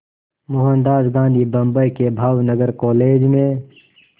मोहनदास गांधी बम्बई के भावनगर कॉलेज में